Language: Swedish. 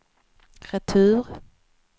retur